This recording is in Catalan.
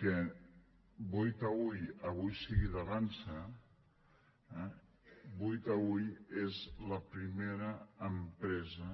que boí taüll avui sigui d’avançsa eh boí taüll és la primera empresa